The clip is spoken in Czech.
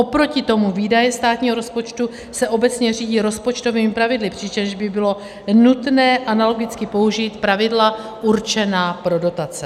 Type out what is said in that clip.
Oproti tomu výdaje státního rozpočtu se obecně řídí rozpočtovými pravidly, přičemž by bylo nutné analogicky použít pravidla určená pro dotace.